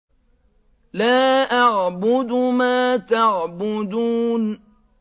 لَا أَعْبُدُ مَا تَعْبُدُونَ